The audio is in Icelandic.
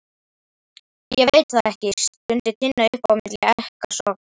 Ég veit það ekki, stundi Tinna upp á milli ekkasoganna.